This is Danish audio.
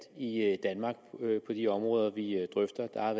i de områder vi drøfter der har